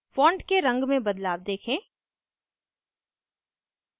font के रंग में बदलाव देखें